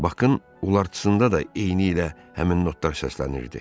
Bakın ulartısında da eynilə həmin notlar səslənirdi.